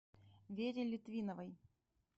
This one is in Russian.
вере литвиновой